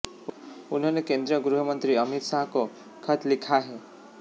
उन्होंने केंद्रीय गृह मंत्री अमित शाह को खत लिखा है